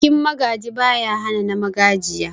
Bikin Magaji, baya hana na Magajiya.